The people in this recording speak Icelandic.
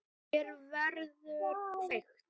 Hér verður kveikt.